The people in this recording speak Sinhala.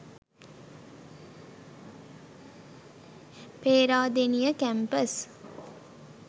peradeniya campus